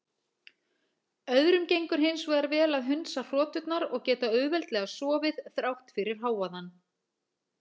Öðrum gengur hins vegar vel að hundsa hroturnar og geta auðveldlega sofið þrátt fyrir hávaðann.